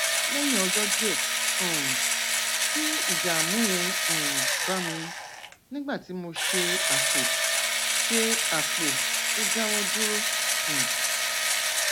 lẹyìn ọjọ díẹ um tí ìdààmú yẹn um bá mi nígbà tí mo ṣe àpò ṣe àpò ó dáwó dúró um